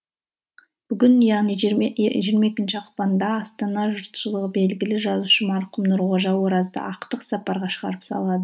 бүгін яғни жиырма екінші ақпанда астана жұртшылығы белгілі жазушы марқұм нұрғожа оразды ақтық сапарға шығарып